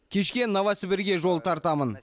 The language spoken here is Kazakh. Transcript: кешке новосібірге жол тартамын